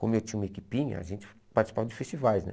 Como eu tinha uma equipinha, a gente participava de festivais, né?